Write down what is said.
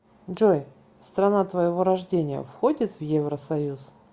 джой страна твоего рождения входит в евросоюз